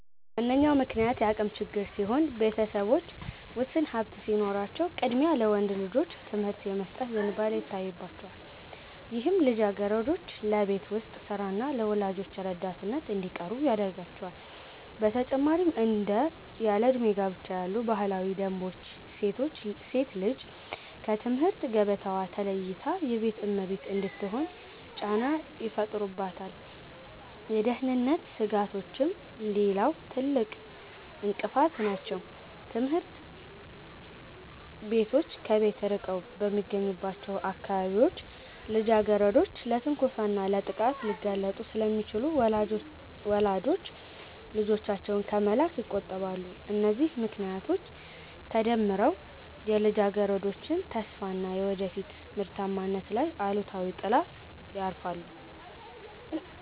ዋነኛው ምክንያት የአቅም ችግር ሲሆን፣ ቤተሰቦች ውስን ሀብት ሲኖራቸው ቅድሚያ ለወንድ ልጆች ትምህርት የመስጠት ዝንባሌ ይታይባቸዋል፤ ይህም ልጃገረዶች ለቤት ውስጥ ሥራና ለወላጆች ረዳትነት እንዲቀሩ ያደርጋቸዋል። በተጨማሪም እንደ ያለዕድሜ ጋብቻ ያሉ ባህላዊ ደንቦች ሴት ልጅ ከትምህርት ገበታዋ ተለይታ የቤት እመቤት እንድትሆን ጫና ይፈጥሩባታል። የደህንነት ስጋቶችም ሌላው ትልቅ እንቅፋት ናቸው፤ ትምህርት ቤቶች ከቤት ርቀው በሚገኙባቸው አካባቢዎች ልጃገረዶች ለትንኮሳና ለጥቃት ሊጋለጡ ስለሚችሉ ወላጆች ልጆቻቸውን ከመላክ ይቆጠባሉ። እነዚህ ምክንያቶች ተደምረው የልጃገረዶችን ተስፋና የወደፊት ምርታማነት ላይ አሉታዊ ጥላ ያርፋሉ